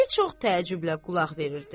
Kişi çox təəccüblə qulaq verirdi.